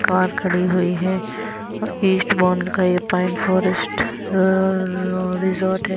Car खड़ी हुई है ईस्ट मॉल का ये पॉइंट फॉरेस्ट रिजॉर्ट हैं।